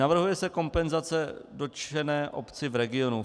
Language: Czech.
Navrhuje se kompenzace dotčené obci v regionu.